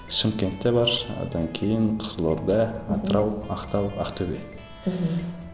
шымкентте бар одан кейін қызылорда атырау ақтау ақтөбе мхм